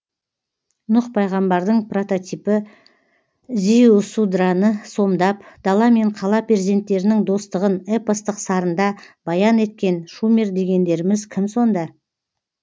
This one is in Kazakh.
нұх пайғамбардың прототипі зиусудраны сомдап дала мен қала перзенттерінің достығын эпостық сарында баян еткен шумер дегендеріміз кім сонда